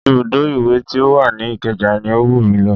Ibùdó iwe ti ó wà ní ìkeja ni ó wù mí lọ